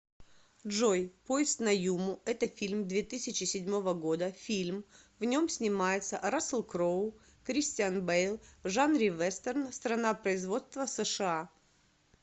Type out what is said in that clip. джой поезд на юму это фильм две тысячи седьмого года фильм в нем снимается рассел кроу кристиан бэйл в жанре вестерн страна производства сша